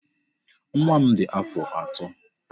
Nwa m dị afọ atọ.